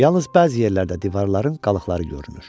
Yalnız bəzi yerlərdə divarların qalıqları görünür.